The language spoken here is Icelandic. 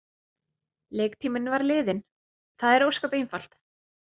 Leiktíminn var liðinn, það er ósköp einfalt.